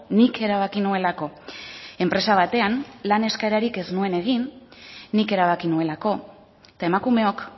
nik erabaki nuelako enpresa batean lan eskaerarik ez nuen egin nik erabaki nuelako eta emakumeok